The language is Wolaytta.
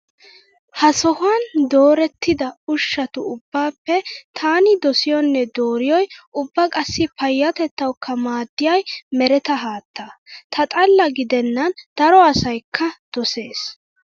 Ha sohuwaan doorettida ushshatu ubbaappe taani dosiyoonne dooriyooyi ubba qassi payyatetawukka maaddiyay mereta haattaa. Ta xaalla gide nan daro asayikka doses.